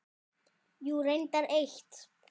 Jú, reyndar eitt.